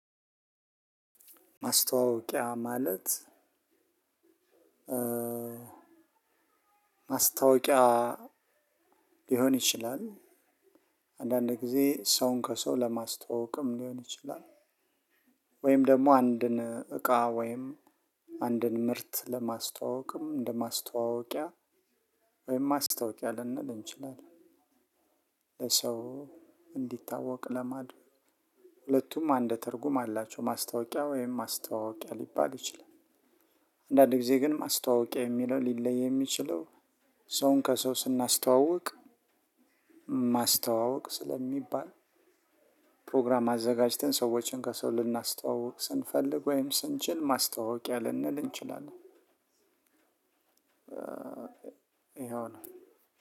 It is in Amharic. ማስተዋወቂያ ማለት ማስታወቂያ ሊሆን ይችላል። አንዳንድ ጊዜ ሰውን ከሰው ለማስተዋወቅም ሊሆን ይችላል። ወይም ደግሞ አንድን እቃ ወይም አንድን ምርት ለማስተዋወቅም እንደ ማስተዋወቂያ ወይም ማስታወቂያ ልንል እንችላለን። ለሰው እንዲታወቅ ለማድረግ ሁለቱም አንድ ትርጉም አላቸው። ማስታወቂያ ወይም ማስተዋወቂያ ሊባል ይችላል። አንዳንድ ጊዜ ግን ማስተዋወቂያ የሚለው ሊለይ የሚችለው ሰውን ከሰው ስናስተዋውቅ ማስተዋወቅ ስለሚባል ፕሮግራም አዘጋጅተን ሰዎችን ከሰው ልናስተዋውቅ ስንፈልግ ወይም ስንችል ማስተዋወቂያ ልንል እንችላለን። ይሄው ነው።